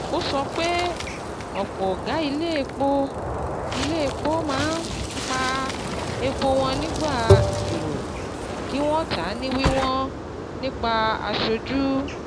Ó sọ pé ọ̀pọ̀ ọ̀gá ilé-epo ilé-epo máa ń pa epo wọn nígbà èrò kí wọ́n tà ní wíwọn nípa aṣojú.